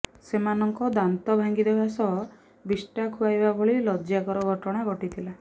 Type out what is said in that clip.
ସେମାନଙ୍କ ଦାନ୍ତ ଭାଙ୍ଗିଦେବା ସହ ବିଷ୍ଟା ଖୁଆଇବା ଭଳି ଲଜ୍ଜାକର ଘଟଣା ଘଟିଥିଲା